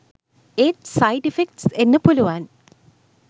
ඒත් side effects එන්න පුලුවන්